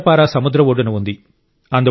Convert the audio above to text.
కేంద్రపారా సముద్ర ఒడ్డున ఉంది